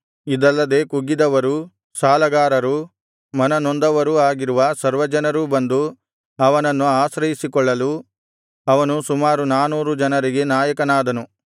ಇದಲ್ಲದೆ ಕುಗ್ಗಿದವರೂ ಸಾಲಗಾರರೂ ಮನನೊಂದವರೂ ಆಗಿರುವ ಸರ್ವಜನರೂ ಬಂದು ಅವನನ್ನು ಆಶ್ರಯಿಸಿಕೊಳ್ಳಲು ಅವನು ಸುಮಾರು ನಾನೂರು ಜನರಿಗೆ ನಾಯಕನಾದನು